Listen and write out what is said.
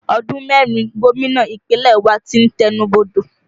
Ọdún mẹ́rin gómìnà Ìpínlẹ̀ wa tí ń tẹnu bodò